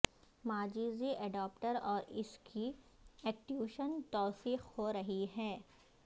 مجازی adapter اور اس کی ایکٹیویشن توثیق ہو رہی ہے